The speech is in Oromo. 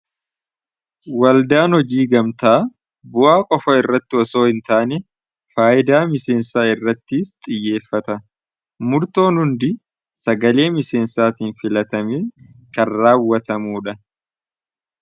waldaan hojii gamtaa bu'aa qofa irratti osoo hin taane faayidaa miseensaa irrattiis xiyyeeffata. murtoon hundi sagalee miseensaatiin filatamanii kan raawwatamuu dha.